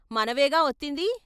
మనవేగా వొత్తింది.